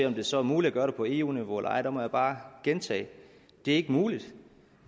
om det så er muligt at gøre det på eu niveau eller ej må jeg bare gentage at det ikke er muligt